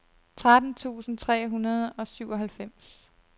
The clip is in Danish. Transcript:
tretten tusind tre hundrede og syvoghalvfems